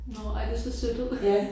Nåh ej det ser sødt ud